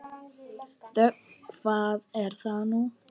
Þöggun, hvað er nú það?